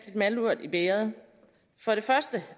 malurt i bægeret for det første